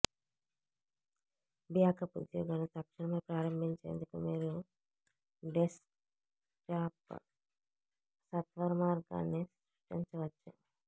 backup ఉద్యోగాన్ని తక్షణమే ప్రారంభించేందుకు మీరు డెస్క్టాప్ సత్వరమార్గాన్ని సృష్టించవచ్చు